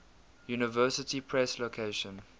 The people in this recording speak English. university press location